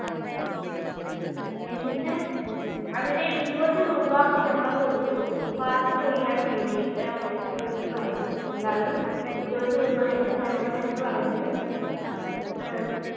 എന്നിട്ട് അവിടെ ഇരുപത് രൂപ ഞങ്ങൾ കൊടുത്തു Park ചെയ്യാൻ വേണ്ടിയിട്ട്. ആ Security പറഞ്ഞു എല്ലാവരും ഇരുപത് രൂപ വെച്ച് തരണം എന്ന് പറഞ്ഞ് അഹ്